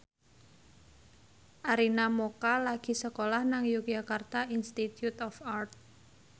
Arina Mocca lagi sekolah nang Yogyakarta Institute of Art